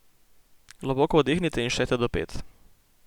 Globoko vdihnite in štejte do pet.